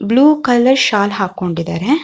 Blue colour shawl ಹಾಕೊಂಡಿದರೆ.